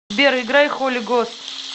сбер играй холи гост